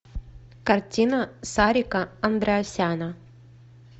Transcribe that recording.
картина сарика андреасяна